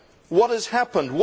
What has happened?